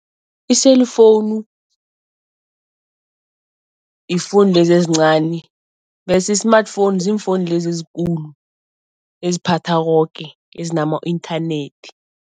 I-cellphone i-phone lezi ezincani bese i-smartphone ziimfowuni lezi ezikulu eziphatha koke, ezinama inthanethi.